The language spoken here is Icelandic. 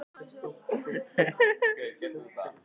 Þú veist bara ekkert um hann?